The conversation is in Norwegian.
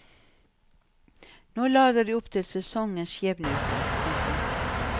Nå lader de opp til sesongens skjebneuke. punktum